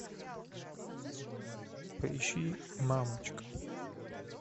поищи мамочка